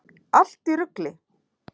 Allt í rugli!